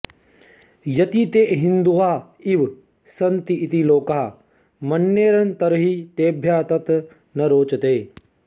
यदि ते हिन्दुवः इव सन्ति इति लोकाः मन्येरन् तर्हि तेभ्यः तत् न रोचते